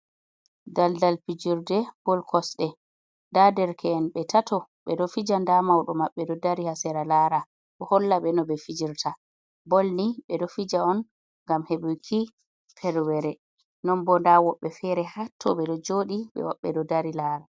Daldal pijirɗe bol kosɗe nda derke’en ɓe tato ɓe ɗo fija, nda maudo maɓɓe ɗo dari ha sera lara bo holla ɓe no ɓe fijirta bol mai, ɓe ɗo fija on ngam heɓuki ferwere, non bo nda woɓbe fere ha to ɓe ɗo joɗi woɓɓe ɗo dari lara.